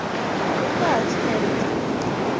ya nga ha tshumelo dzine